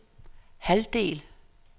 halvdel